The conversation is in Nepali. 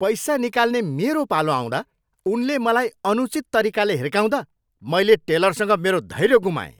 पैसा निकाल्ने मेरो पालो आउँदा उनले मलाई अनुचित तरिकाले हिर्काउँदा मैले टेलरसँग मेरो धैर्य गुमाएँ।